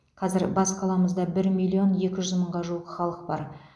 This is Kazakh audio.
қазір бас қаламызда бір миллион екі жүз мыңға жуық халық бар